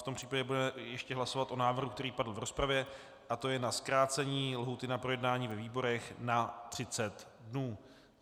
V tom případě budeme ještě hlasovat o návrhu, který padl v rozpravě, a to je na zkrácení lhůty na projednání ve výborech na 30 dnů.